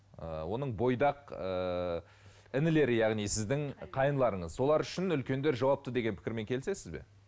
ыыы оның бойдақ ыыы інілері яғни сіздің қайныларыңыз солар үшін үлкендер жауапты деген пікірмен келісесіз бе